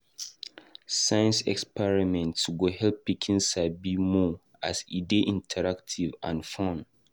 Science experiments go help pikin sabi more as e dey interactive and fun.